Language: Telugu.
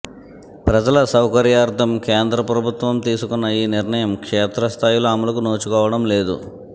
ప్రజల సౌకర్యార్థం కేంద్ర ప్రభుత్వం తీసుకున్న ఈ నిర్ణయం క్షేత్రస్థాయిలో అమలుకు నోచుకోవడం లేదు